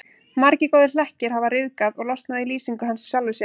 Margir góðir hlekkir hafa ryðgað og losnað í lýsingu hans á sjálfum sér.